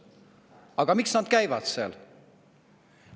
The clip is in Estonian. Aga miks nad seal käivad?